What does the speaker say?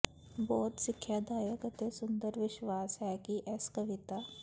ਬਹੁਤ ਸਿੱਖਿਆਦਾਇਕ ਅਤੇ ਸੁੰਦਰ ਵਿਸ਼ਵਾਸ ਹੈ ਕਿ ਇਸ ਕਵਿਤਾ